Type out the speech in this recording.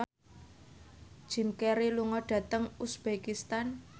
Jim Carey lunga dhateng uzbekistan